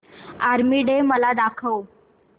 army day मला दाखव